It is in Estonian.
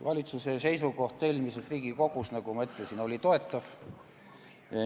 Valitsuse seisukoht eelmises Riigikogus, nagu ma ütlesin, oli toetav.